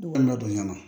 Ne kɔni ladonya la